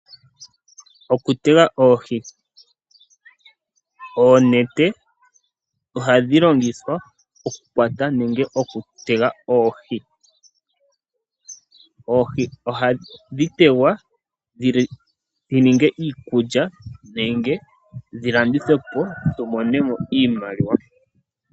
Okutega oohi. Oonete ohadhi longithwa oku kwata nenge oku tega oohi. Oohi ohadhi tegwa dhi ninge iikulya nenge dhi landithwe po, tu mone mo iimaliwa.